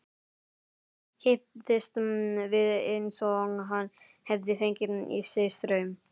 Kipptist við eins og hann hefði fengið í sig straum.